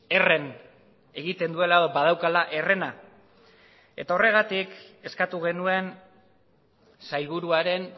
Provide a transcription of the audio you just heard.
erren egiten duela edo badaukala errena eta horregatik eskatu genuen sailburuaren